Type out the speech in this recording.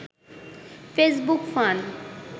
Facebook fun